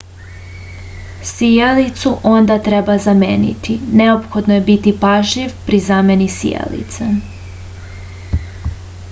sijalicu onda treba zameniti neophodno je biti pažljiv pri zameni sijalice